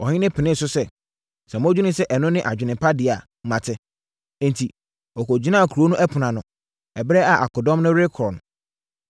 Ɔhene penee so sɛ, “Sɛ modwene sɛ ɛno ne adwene pa deɛ a, mate.” Enti, ɔkɔgyinaa kuro no ɛpono ano, ɛberɛ a akodɔm no rekɔ no.